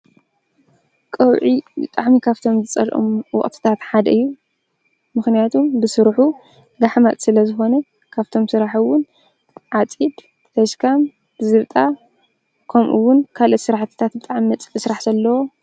ቀውዒ ብጣዕሚ ካብቶም ዝፀልኦም ወቅታት ሓደ እዩ። ምክንያቱም ብስርሑ ጋሕማት ስለዝኮነ ካብቶም ዝስርሑ ዓፂድ፣ ተሽካም፣ ዝብጣ ከምኡ ውን ካልኦት ስራሕትታት ብጣዕሚ መፅልኢ ስራሕ ዘለዎ